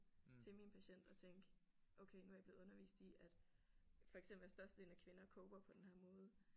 Til min patient og tænke okay nu er jeg blevet undervist i at for eksempel at størstedelen af kvinder coper på den her måde